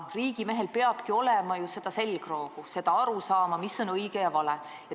Riigimehel peab olema selgroogu, arusaama, mis on õige ja mis on vale.